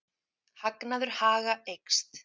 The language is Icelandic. Hagnaður Haga eykst